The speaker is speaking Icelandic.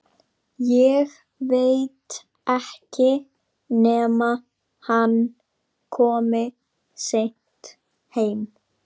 Ég veit ekki nema hann komi seint heim